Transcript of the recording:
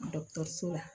Dɔkɔtɔrɔso la